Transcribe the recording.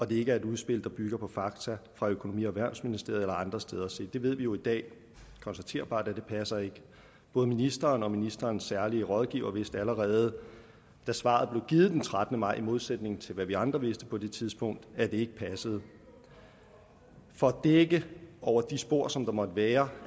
det ikke var et udspil der byggede på fakta fra økonomi og erhvervsministeriet eller andre steder se det ved vi jo i dag konstaterbart ikke passer både ministeren og ministerens særlige rådgiver vidste allerede da svaret blev givet den trettende maj i modsætning til hvad vi andre vidste på det tidspunkt at det ikke passede for at dække over de spor som der måtte være